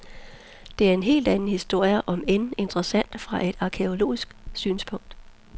Det er en helt anden historie, om end interessant fra et arkæologisk synspunkt.